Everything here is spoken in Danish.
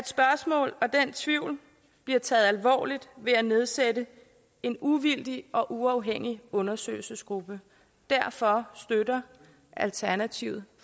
spørgsmål og den tvivl bliver taget alvorligt ved at nedsætte en uvildig og uafhængig undersøgelsesgruppe derfor støtter alternativet